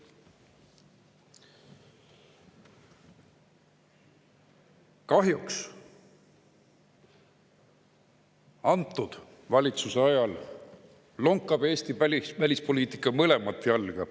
Kahjuks praeguse valitsuse ajal lonkab Eesti välispoliitika mõlemat jalga.